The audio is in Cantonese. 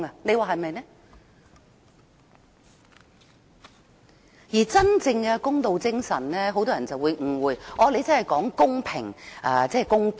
很多人對真正的公道精神有所誤解，以為是指公平和公道。